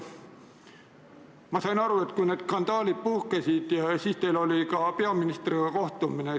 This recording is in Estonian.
Ma sain aru, et kui need skandaalid puhkesid, siis teil oli ka peaministriga kohtumine.